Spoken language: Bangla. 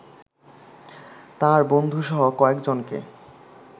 তার বন্ধুসহ কয়েকজনকে